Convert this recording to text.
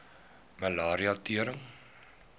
malaria tering